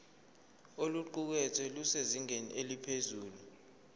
oluqukethwe lusezingeni eliphezulu